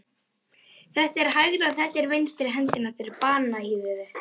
Þetta er hægri og þetta er vinstri hendin á þér, bananahýðið þitt.